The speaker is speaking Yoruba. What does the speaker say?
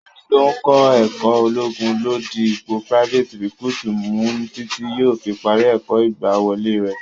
Ẹni tó ń kọ ẹ̀kó ológun ló di ipò private recruit mu títí yóò fi parí ẹ̀kọ́ ìgbàwọlé rẹ.